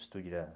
O estúdio era...